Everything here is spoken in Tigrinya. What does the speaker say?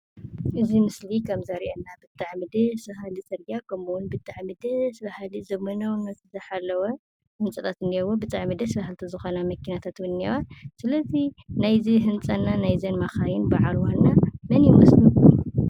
እዚ ምስሊ ከም ዘሪኢና ብጣዕሚ ደስ ባሃሊ ፅርግያ ከምኡምን ብጣዕሚ ደስ ባሃሊ ዘመናዉነት ዝሓለወ ህንፃታት እኒህዎ። ብጣዕሚ ደስ ባሀሊቲ ዝኮና መኪናታት እውን እኒህዎ። ስለ እዚ ናይ እዚ ህንፃ እና ናይ እዘን መካይን በዓል ዋና መን ይምስልኩም?